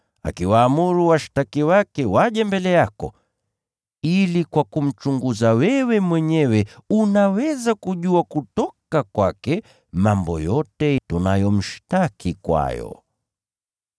akiwaamuru washtaki wake waje mbele yako: ili] kwa kumchunguza wewe mwenyewe unaweza kujua kutoka kwake mambo yote tunayomshtaki kwayo.”